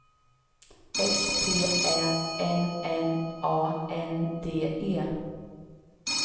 S P Ä N N A N D E